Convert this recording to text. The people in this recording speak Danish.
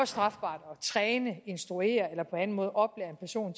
strafbart at træne instruere eller på anden måde oplære en person